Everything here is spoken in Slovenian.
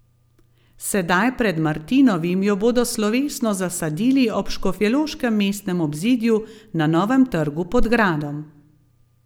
Sedaj pred Martinovim jo bodo slovesno zasadili ob škofjeloškem mestnem obzidju na novem Trgu pod gradom.